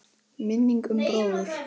Minning um bróður.